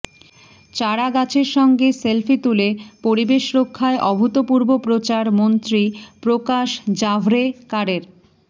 চারা গাছের সঙ্গে সেলফি তুলে পরিবেশ রক্ষায় অভূতপূর্ব প্ৰচার মন্ত্ৰী প্ৰকাশ জাভড়েকারের